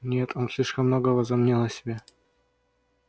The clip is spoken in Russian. нет он слишком много возомнил о себе